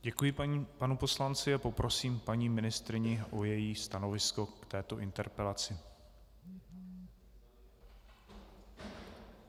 Děkuji panu poslanci a poprosím paní ministryni o její stanovisko k této interpelaci.